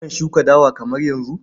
Akan shuka dawa kamar yanzu.